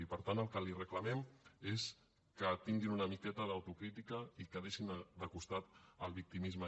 i per tant el que li reclamem és que tinguin una miqueta d’autocrítica i que deixin de costat el victimisme